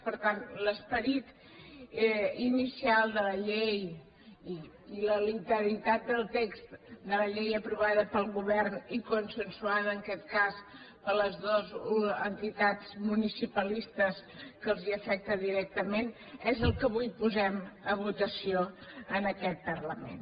per tant l’esperit inicial de la llei i la literalitat del text de la llei aprovada pel govern i consensuada en aquest cas per les dues entitats municipalistes que els afecta directament és el que avui posem a votació en aquest parlament